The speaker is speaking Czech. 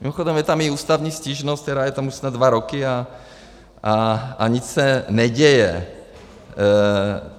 Mimochodem, je tam i ústavní stížnost, která je tam už snad dva roky a nic se neděje.